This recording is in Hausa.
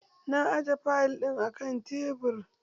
Na aje fayil ɗin akan tebur.